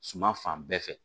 Suma fan bɛɛ fɛ